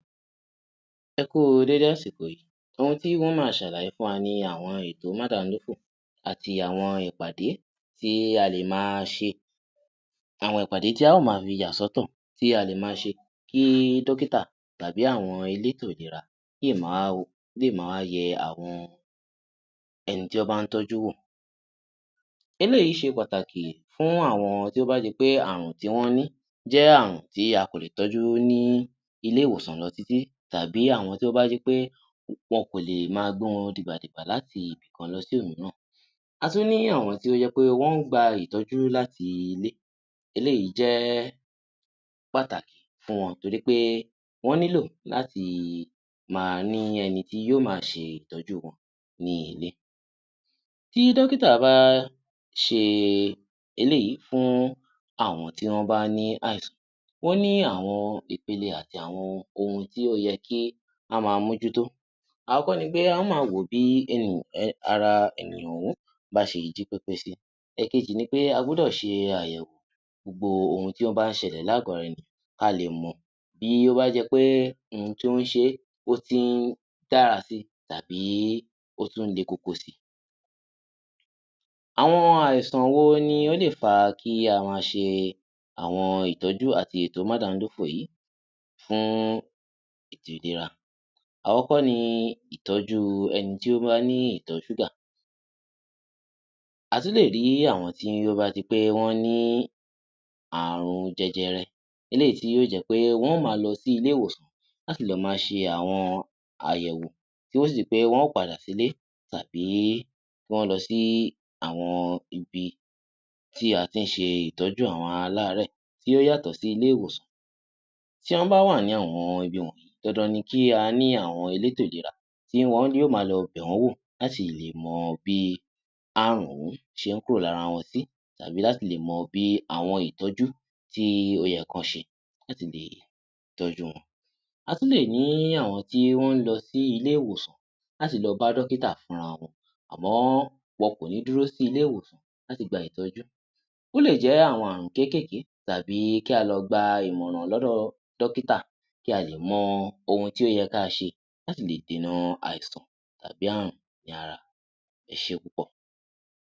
Ẹ kú u dédé àsìkò yìí. Ohun tí n ó máa ṣàlàyé fún wa ni àwọn ètò mádamidófò àti àwọn ìpàdé tí a lè máa ṣe. Àwọn ìpàdé tí a ó máa fi yà sọ́tọ̀, tí a lè máa ṣe kí dọ́kítà tàbí àwọn elétò ìlera lè ma wá wò, lè ma wá yẹ àwọn ẹni tí wọ́n bá ń tọ́jú wò. Eléyìí ṣe pàtàkì fún àwọn tí ó bá di pé ààrùn tí wọ́n ní jẹ́ ààrùn tí a kò lè tọ́jú ní ilé-ìwòsàn lọ títí tàbí àwọn tí ó bá jẹ́ pé wọn kò lè máa gbé wọn dìgbàdìgbà láti ibì kan lọ sí òmíràn. A tún ní àwọn tí ó jẹ́ pé wọ́n ń gba ìtọ́jú láti ilé. Eléyìí jẹ́ pàtàkì fún wọn torí pé wọ́n nílò láti máa ní ẹni tí yóò máa ṣe ìtọ́jú wọn ní ilé. Tí dọ́kítà bá ṣe eléyìí fún àwọn tí wọ́n bá ní àìsàn, wọ́n ní àwọn ìpele àti àwọn ohun tí ó yẹ kí á máa mójútó. Àkọ́kọ́ ni pé, a ó máa wò ó bí ara ènìyàn ọ̀hún bá ṣe jí pépé sí. Ẹ̀kejì ni pé, a gbúdọ̀ ṣe àyẹ̀wò gbogbo ohun tí ó bá ń ṣẹlẹ̀ l’ágọ̀ ara ènìyàn kí a lè mọ̀ bí ó bá jẹ́ pé ohun tí ó ń ṣe é, ó ti ń dára si tàbí ó tún ń le koko si. Àwọn àìsàn wo ni ó lè fa kí a ma ṣe àwọn ìtọ́jú àti ètò mádamidófò yìí fún ètò ìlera? Àkọ́kọ́ ni ìtọ́jú ẹni tí ó bá ní ìtọ̀-ṣúgà. A tún lè rí àwọn tí ó bá di pé wọ́n ní ààrùn jẹjẹrẹ, eléyìí tí yóò jẹ́ pé wọ́n ó máa lọ sí ilé-ìwòsàn láti lọ máa ṣe àwọn àyẹ̀wò tí yóó sì di pé wọ́n máa padà sílé tàbí kí wọ́n lọ sí àwọn ibi tí a ti ń ṣe ìtọ́jú àwọn aláàárẹ̀ tí ó yàtọ̀ sí ilé-ìwòsàn. Tí wọ́n bá wà ní àwọn ibi wọ̀nyí, dandan ni kí a ní àwọn elétò ìlera tí wọn yóò ma lọ bẹ̀ wọ́n wọ̀ láti lè mọ bí ààrùn ọ̀hún ṣe ń kúrò lára wọn sí, tàbí láti lè mọ bí àwọn ìtọ́jú tí ó yẹ kán ṣe láti lè tọ́jú wọn. A tún lè ní àwọn tí wọ́n ń lọ sí ilé-ìwòsàn láti lọ bá dọ́kítà fúnra wọn, àmọ́ wọn kò ní dúró sí ilé-ìwòsàn láti gba ìtọ́jú. Ó lè jẹ́ àwọn ààrùn kékèèké tàbí kí á lọ gba ìmọ̀ràn lọ́dọ̀ dọ́kítà kí a lè mọ ohun tí ó yẹ ká a ṣe láti lè dènà àìsàn tàbí ààrùn ní ara. Ẹ ṣé púpọ̀!